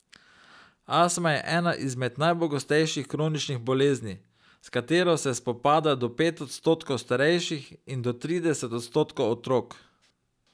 Astma je ena izmed najpogostejših kroničnih bolezni, s katero se spopada do pet odstotkov starejših in do trideset odstotkov otrok.